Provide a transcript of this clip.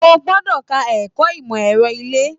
O gbọdọ ka ẹ̀kọ́ ìmọ ẹrọ ile!